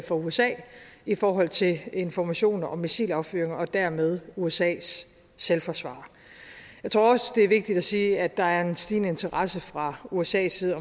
for usa i forhold til informationer om missilaffyringer og dermed usas selvforsvar jeg tror også det er vigtigt at sige at der er en stigende interesse fra usas side